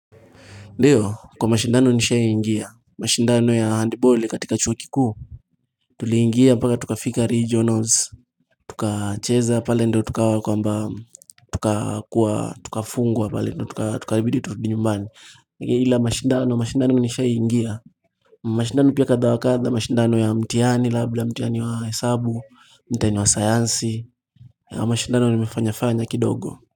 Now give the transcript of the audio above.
Ndiyo kwa mashindano nishai ingia mashindano ya handball katika chuokiku Tuli ingia mpaka tukafika regionals tukacheza pale ndo tukawa kwa mba tukafungwa pale ndo tukaribidi turudi nyumbani Ila mashindano mashindano nishaiingia mashindano pia katha wakatha mashindano ya mtiani labila mtiani wa hesabu mtiani wa sayansi ya mashindano nimefanyafanya kidogo.